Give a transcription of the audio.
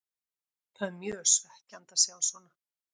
Það er mjög svekkjandi að sjá svona.